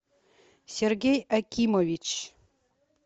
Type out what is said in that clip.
сергей акимович